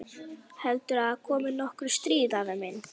Heldurðu að komi nokkuð stríð, afi minn?